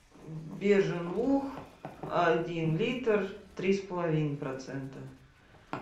бежин луг один литр три с половиной процента